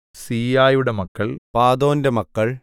സീയായുടെ മക്കൾ പാദോന്റെ മക്കൾ